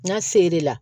N'a ser'e la